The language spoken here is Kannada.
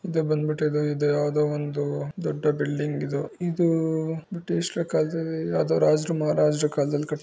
ಇದು ಬಂದ್ಬಿಟ್ಟು ಇದು ಯಾವುದೋ ಒಂದು ದೊಡ್ಡ ಬಿಲ್ಡಿಂಗ್ ಇದು ಇದು ಬ್ರಿಟಿಷರ ಕಾಲದಲ್ಲಿ ಯಾವ್ದೋ ರಾಜರು ಮಹಾರಾಜರು ಕಾಲದಲ್ಲಿ ಕಟ್ಸಿ--